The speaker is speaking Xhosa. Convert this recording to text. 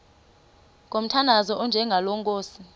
ngomthandazo onjengalo nkosi